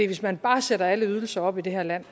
hvis man bare sætter alle ydelser op i det her land